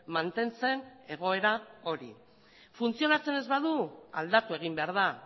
mantentzen egoera hori funtzionatzen ez badu aldatu egin behar da